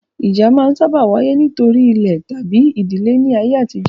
Ìjà máa n sáábà wáyé nítorí ilẹ̀ tabi ìdílé ní ayé àtijó